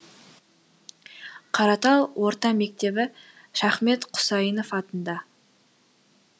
қаратал орта мектебі шахмет құсайынов атында